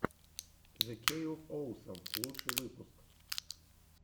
зе кей оф оусам лучший выпуск